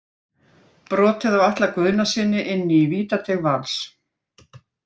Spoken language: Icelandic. Brotið á Atla Guðnasyni inni í vítateig Vals.